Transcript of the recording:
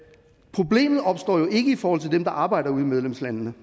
problemet opstår jo ikke i forhold til dem der arbejder ude i medlemslandene